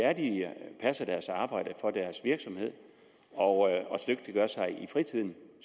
passer deres arbejde for deres virksomhed og dygtiggør sig i fritiden